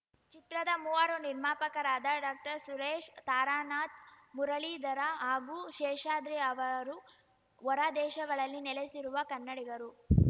ಚಿತ್ರದ ಮೂವರು ನಿರ್ಮಾಪಕರಾದ ಡಾಕ್ಟರ್ಸುರೇಶ್‌ ತಾರನಾಥ್‌ ಮುರಳೀಧರ ಹಾಗೂ ಶೇಷಾದ್ರಿ ಅವರು ಹೊರ ದೇಶಗಳಲ್ಲಿ ನೆಲೆಸಿರುವ ಕನ್ನಡಿಗರು